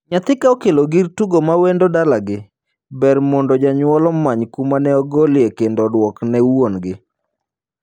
Nyathi ka okelo gir tugo ma wendo dalagi, ber mondo janyuol omany kuma ne ogolie kendo oduokne wuongi.